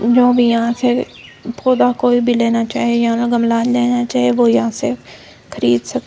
जो भी यहां से पौधा कोई भी लेना चाहे यहां का गमला लेना चाहे वो यहां से खरीद सक--